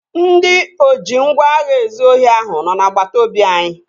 Ndị oji ngwá agha ezụ ohi ahụ nọ n'agbata obi anyị